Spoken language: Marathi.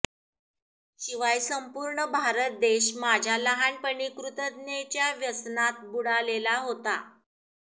शिवाय संपूर्ण भारत देश माझ्या लहानपणी कृतज्ञतेच्या व्यसनात बुडालेला होता